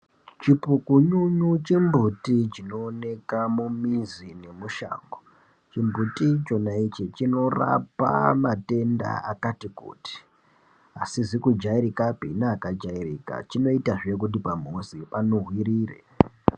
Chipukununu chembuti chinoonekwa mumizi nemushango chimbuti chinorapa matenda akati kuti asizi kujairikapi neakajairika chinoita zvekuti pamuzi zvijairike.